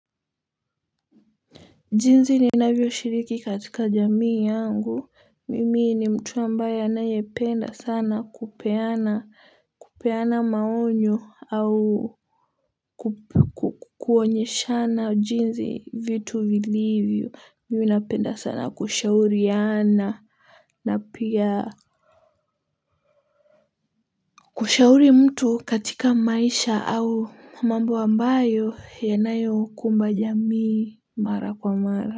Jinzi ninavyo shiriki katika jamii yangu mimi ni mtu ambaye anaye penda sana kupeana kupeana maonyo au kukuonyeshana jinzi vitu vilivyo mimi napenda sana kushauriana na pia kushauri mtu katika maisha au mambo ambayo yanayo kumba jamii mara kwa mara.